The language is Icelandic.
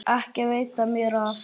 Ekki veitti mér af.